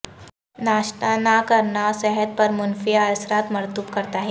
ناشتہ نہ کرنا صحت پر منفی اثرات مرتب کرتا ہے